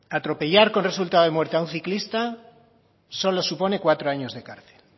atropellar con resultado de muerte a un ciclista solo supone cuatro años de cárcel